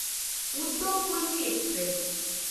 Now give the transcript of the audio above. Udyog Karmi express